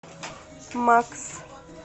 макс